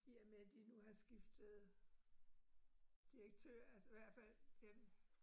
I og med de nu har skiftet direktør altså hvert fald øh